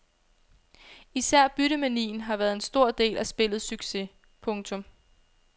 Især byttemanien har været en stor del af spillets succes. punktum